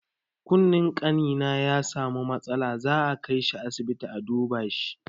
Kunnen ƙanina ya samu matsala, za a kaishi asibiti a duba shi.